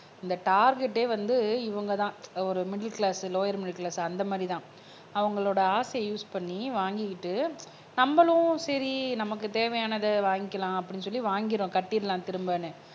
இந்த டார்கெட்டே வந்து இவங்கதான் ஒரு middle class lower middle class அந்த மாதிரிதான் அவங்களோட ஆசையை யூஸ் பண்ணி வாங்கிக்கிட்டு நம்மளும் சரி நமக்கு தேவையானதை வாங்கிக்கலாம் அப்படின்னு சொல்லி வாங்கிறோம் கட்டிடலாம் திரும்பன்னு